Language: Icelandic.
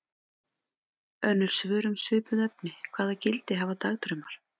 Önnur svör um svipuð efni: Hvaða gildi hafa dagdraumar?